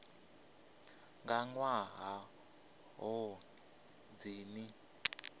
nga nnḓa ha ṱhoni dzine